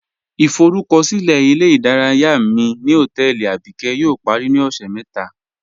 Ìforúkọ̀silẹ̀ ilẹ̀-ìdáràyà mi ni hotẹẹlì Abíkẹ̀ yóò parí ni ọṣẹ́ mẹta